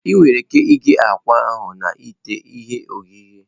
Ị nwere ike ighe akwa ahụ na ite ihe ohihe.